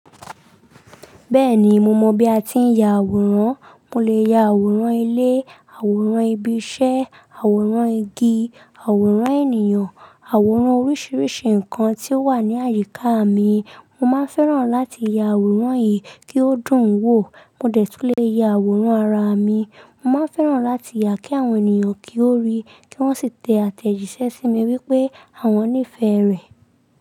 Bẹ́ẹ̀ni mo mọ bi a ti ń ya àwòrán. Mo lè ya àwòrán ilé, àwòrán ibi iṣẹ́, àwòrán igi, àwòrán ènìyàn, àwòrán oríṣiríṣi nǹkan tí ó wà ní àyíká mi. Mo máa ń fẹ́ràn láti ya àwòrán yìí kí ó dùn ún wò. Mo dẹ̀ tún lè ya àwòrán ara mi. Mo máa ń fẹ́ràn láti yà kí àwọn ènìyàn kí ó rí, kí wọ́n sì tẹ àtẹ̀jíṣẹ́ sí mi wípé àwọn nífẹ̀ẹ́ rẹ̀.